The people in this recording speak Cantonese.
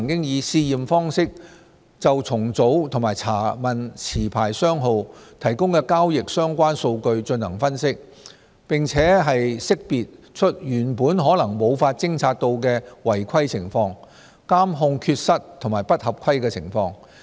此外，證監會曾以試驗方式就重組及查問持牌商號提供的交易相關數據進行分析，並識別出原本可能無法偵察到的違規情況、監控缺失及不合規情況。